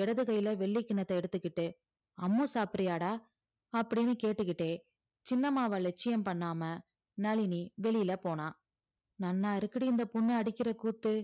இடது கையில வெள்ளி கிண்ணத்த எடுத்துக்கிட்டு அம்மு சாப்பிடுறியாடா அப்படின்னு கேட்டுகிட்டே சின்னம்மாவ லட்சியம் பண்ணாம நளினி வெளியில போனா நன்னாருக்குடி இந்த பொண்ணு அடிக்கிற கூத்து